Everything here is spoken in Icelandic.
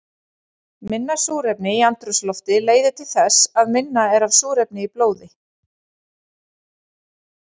Minna súrefni í andrúmslofti leiðir til þess að minna er af súrefni í blóði.